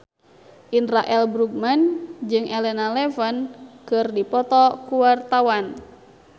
Indra L. Bruggman jeung Elena Levon keur dipoto ku wartawan